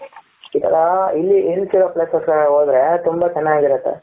ಇತರ hill hills ಇರೋ places ಗೆ ಹೋದ್ರೆ ತುಂಬಾ ಚೆನ್ನಾಗಿ ಇರುತೆ ,